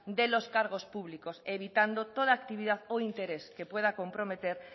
de los cargos públicos evitando toda actividad o todo interés que pueda comprometer